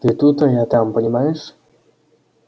ты тут а я там понимаешь